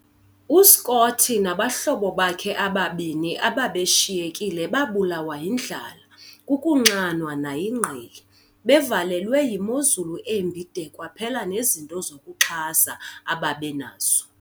U-Scott nabahlobo bakhe ababini ababeshiyekile babulawa yindlala, kukunxanwa, nayingqele. - bevalelwe yimozulu embi de kwaphela nezinto zokuzixhasa ababenazo.